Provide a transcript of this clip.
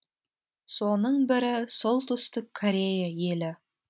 соның бірі солтүстік корея елі